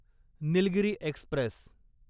Nilgiri Express